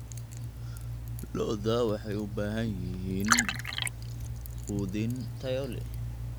Lo'da lo'da waxay u baahan yihiin quudin tayo leh.